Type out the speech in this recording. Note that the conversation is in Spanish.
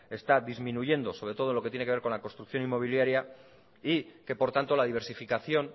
está disminuyendo sobre todo en lo que tiene que ver con la construcción inmobiliaria y que por tanto la diversificación